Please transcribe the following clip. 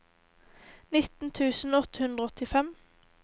nitten tusen åtte hundre og åttifem